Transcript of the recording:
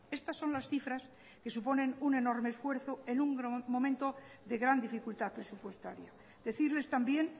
estas son las cifras que suponen un enorme esfuerzo en un momento de gran dificultad presupuestaria decirles también